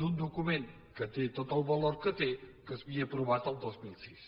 d’un document que tot el valor que té que s’havia aprovat el dos mil sis